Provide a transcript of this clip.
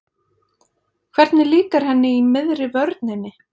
Hvernig líkar henni í miðri vörninni?